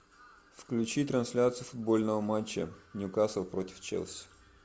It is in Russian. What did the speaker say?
включи трансляцию футбольного матча ньюкасл против челси